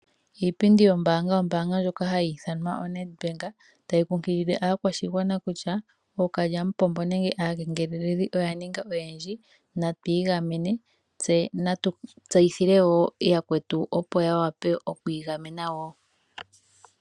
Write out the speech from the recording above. Iipindi yombaanga, ombaanga ndjoka hayi ithanwa Nedbank tayi kunkilile aakwashigwana kutya ookalyamupombo nenge aakengeleli oya ninga oyendji natu igamene tse natu tseyithile woo yakwetu opo yawape oku igamena woo.